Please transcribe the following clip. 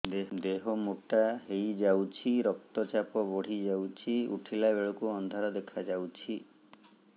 ଦେହ ମୋଟା ହେଇଯାଉଛି ରକ୍ତ ଚାପ ବଢ଼ି ଯାଉଛି ଉଠିଲା ବେଳକୁ ଅନ୍ଧାର ଦେଖା ଯାଉଛି